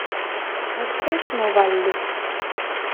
открой кино валли